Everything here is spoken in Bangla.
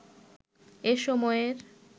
এ সময়ের